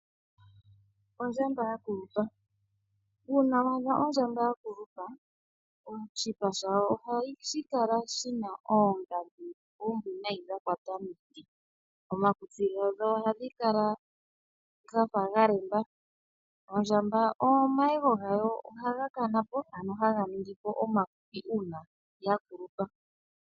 Ondjamba ya kulupa. Uuna wa adha ondjamba ya kulupa, oshipa shayo oha shi kala shina oongandji, combination dha kwata miiti. Omakutsi gayo, oha ga kala ga fa ga lemba. Ondjamba omayego gayo, oha ga kanapo ano ha ga ningipo omafupi uuna ya kulupa.